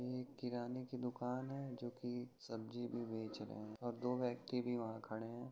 ये एक किराने की दुकान है जोकि सब्जी भी बेच रहे हैं और दो व्यक्ति भी वहा खड़े हैं।